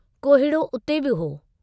कोहीड़ो उते बि हो।